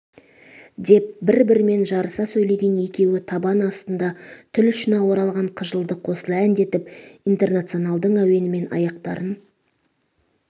деп бір-бірімен жарыса сөйлеген екеуі табан астында тіл ұшына оралған қыжылды қосыла әндетіп интернационалдың әуенімен аяқтарын